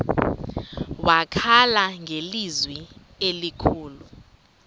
wakhala ngelizwi elikhulu